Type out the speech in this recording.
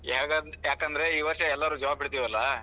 ಯಾಕ್ ಯಾಕಂದ್ರ ಈ ವಷ೯ ಎಲ್ಲಾರು job ಹಿಡ್ದೇವಲ್ಲಾ.